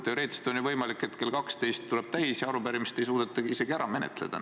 Teoreetiliselt on ju võimalik, et kell saab 12 öösel ja arupärimisi ei ole suudetud ära menetleda.